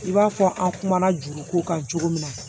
I b'a fɔ an kumana juruko kan cogo min na